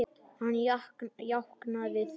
Hann jánkaði því.